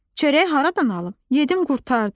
Çörəyi haradan alım, yedim qurtardı.